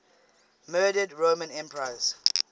murdered roman emperors